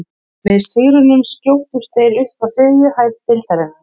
Með sigrinum skjótast þeir upp í þriðja sæti deildarinnar.